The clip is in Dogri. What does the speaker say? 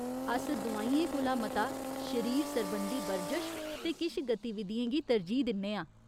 अस दोआइयें कोला मता शरीर सरबंधी बरजश ते किश गतिविधियें गी तरजीह् दिन्ने आं।